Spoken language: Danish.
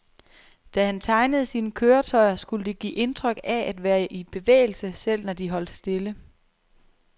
Da han tegnede sine køretøjer, skulle de give indtryk af at være i bevægelse, selv når de holdt stille.